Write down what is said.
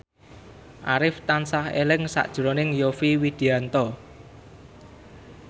Arif tansah eling sakjroning Yovie Widianto